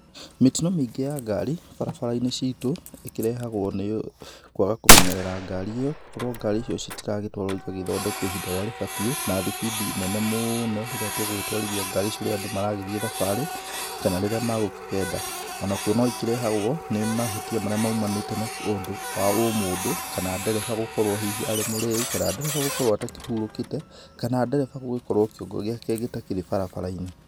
Mĩtino mĩingĩ ya ngari barabara-inĩ citũ ĩkĩrehagwo nĩ kwaga kũmenyerera ngari ĩyo, kũrwo ngari icio citiratwarwo igagĩthondekwo ihinda rĩrĩa rĩbatiĩ na thibindi nene mũũno rĩrĩa tũgũgĩtwarithia ngari icio rĩrĩa andũ maragĩthiĩ thabarĩ, kana rĩrĩa megũkigenda. Onakuo no ikĩrehagwo nĩ mahĩtia marĩa maumanite na ũndũ wa ũmũndũ kana ndereba gũkorwo hihi arĩ mũrĩu kana ndereba gũkorwo atakĩhurũkite, kana ndereba gũgĩkorwo kĩongo gĩake gĩtakĩrĩ barabara-inĩ.